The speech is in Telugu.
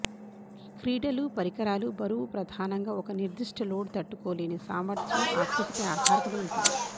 క్రీడలు పరికరాలు బరువు ప్రధానంగా ఒక నిర్దిష్ట లోడ్ తట్టుకోలేని సామర్థ్యం ఆకృతిపై ఆధారపడి ఉంటుంది